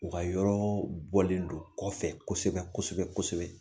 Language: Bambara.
U ka yɔrɔ bɔlen don kɔfɛ kosɛbɛ kosɛbɛ kosɛbɛ